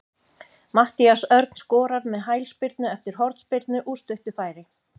Matthías Örn skorar með hælspyrnu eftir hornspyrnu úr stuttu færi.